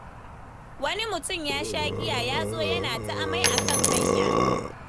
Wani mutum ya sha giya ya zo yana ta amai a kan hanya.